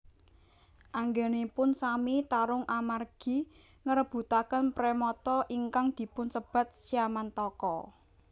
Anggenipun sami tarung amargi ngrebutaken premata ingkang dipun sebat Syamantaka